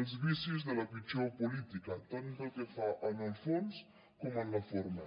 els vicis de la pitjor política tant pel que fa al fons com a la forma